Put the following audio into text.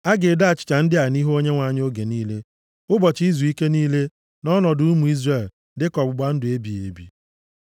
A ga-edo achịcha ndị a nʼihu Onyenwe anyị oge niile, ụbọchị izuike niile, nʼọnọdụ ụmụ Izrel, dịka ọgbụgba ndụ ebighị ebi.